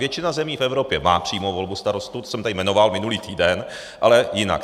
Většina zemí v Evropě má přímou volbu starostů, to jsem tady jmenoval minulý týden, ale jinak.